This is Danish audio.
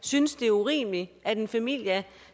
synes det er urimeligt at en familie